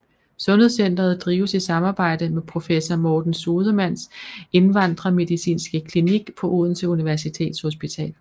Sundhedscentret drives i samarbejde med professor Morten Sodemanns indvandrermedicinske klinik på Odense Universitetshospital